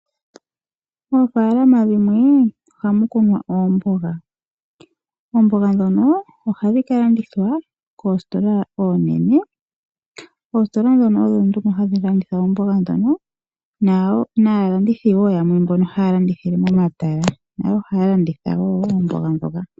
Moofaalama dhimwe ohamu kunwa oomboga. Oomboga ndhono ohadhi ka landithwa koositola oonene. Oositola ndhono odho nduno hadhi landitha oomboga ndhono naalandithi wo yamwe mboka haya landithile momatala nayo ohaya landitha wo oomboga ndhoka.